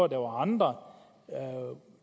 der var andre